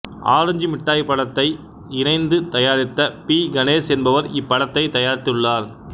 orange Mittai படத்தை இணைந்து தாயாரித்த பி கணேஷ் என்பவர் இப்படத்தைத் தயாரித்துள்ளார்